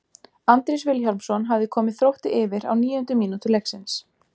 Andrés Vilhjálmsson hafði komið Þrótti yfir á níundu mínútu leiksins.